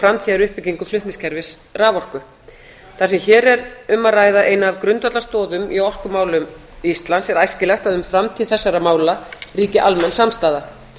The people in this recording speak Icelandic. framtíðaruppbyggingu flutningskerfis raforku það sem hér er um að ræða eina af grundvallarstoðum í orkumálum íslands er æskilegt að um framtíð þessara mála ríki almenn samstaða